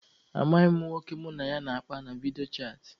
Amaghịkwa m nwoke mụ na ya na-akpa na vidiyo chaatị.